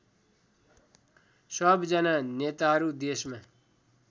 सबजना नेताहरू देशमा